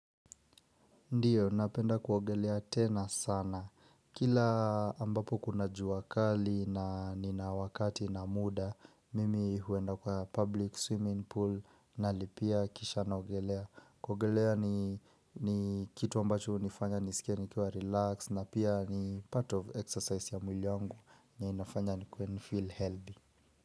Ndiyo, napenda kuogelea tena sana. Kila ambapo kuna jua kali na nina wakati na muda, mimi huenda kwa public swimming pool nalipia kisha naogelea. Kuogelea ni kitu ambacho hunifanya nisikie nikiwa relax na pia ni part of exercise ya mwili wangu na inafanya nikuwe ni feel healthy.